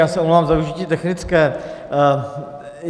Já se omlouvám za využití technické.